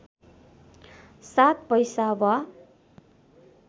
सात पैसा वा